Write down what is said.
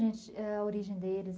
a origem deles